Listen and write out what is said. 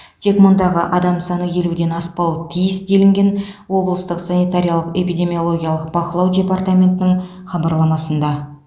тек мұндағы адам саны елуден аспауы тиіс делінген облыстық санитариялық эпидемиологиялық бақылау департаментінің хабарламасында